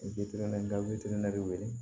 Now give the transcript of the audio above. nka de wele